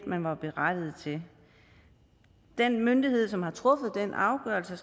man var berettiget til den myndighed som har truffet afgørelsen